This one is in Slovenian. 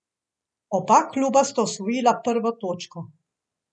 Oba kluba sta osvojila prvo točko.